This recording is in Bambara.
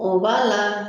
O b'a la